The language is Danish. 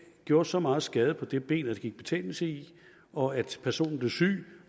gjorde så meget skade på det ben at der gik betændelse i det og at personen blev syg og